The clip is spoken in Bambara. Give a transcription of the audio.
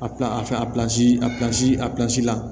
A pilasi a pilansi a pilasi a pilansi la